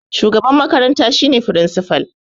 Shugaban makaranta shi ne firinsipal